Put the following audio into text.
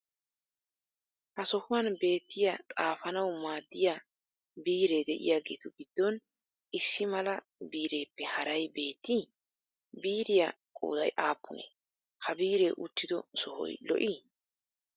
Ha sohuwan beettiya xaafanawu maaddiya biiree de'iyageetu giddon issi mala biireppe haray beettii? Biiriya qooday aappunee? Ha biiree uttido sohoy lo'ii?